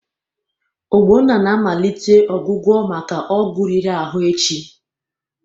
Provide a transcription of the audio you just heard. Ogbonna na-amalite ọgwụgwọ maka ọgwụ riri ahụ echi.